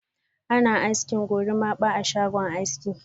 Ana aski "gorimapa" a shago aski.